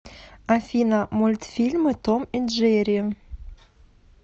афина мультфильмы том и джери